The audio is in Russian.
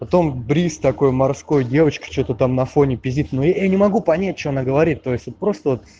потом бриз такой морской девочка что-то там на фоне пиздит но я не могу понять что она говорит то есть это просто вот